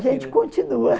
gente continua.